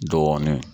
Dɔɔnin